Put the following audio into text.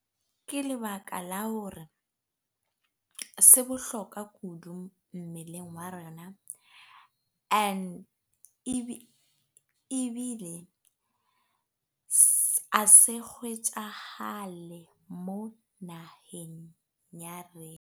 Ke lebaka la hore se bohlokwa kudu mmeleng wa rena and ebile ha se kgwetjahale mo naheng ya rena.